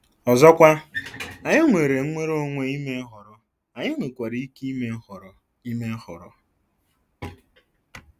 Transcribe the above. Ọzọkwa, anyị nwere nnwere onwe ime nhọrọ, anyị nwekwara ike ime nhọrọ ime nhọrọ.